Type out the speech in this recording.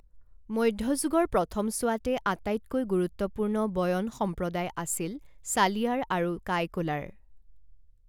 মধ্যযুগৰ প্ৰথমছোৱাতে আটাইতকৈ গুৰুত্বপূৰ্ণ বয়ন সম্প্ৰদায় আছিল ছালিয়াৰ আৰু কাইকোলাৰ।